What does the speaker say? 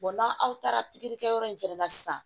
n'aw taara pikiri kɛ yɔrɔ in fana na sisan